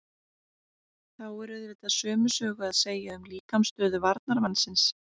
Þá er auðvitað sömu sögu að segja um líkamsstöðu varnarmannsins.